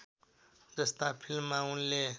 जस्ता फिल्‍ममा उनले